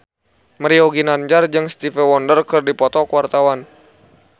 Mario Ginanjar jeung Stevie Wonder keur dipoto ku wartawan